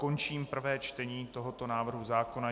Končím prvé čtení tohoto návrhu zákona.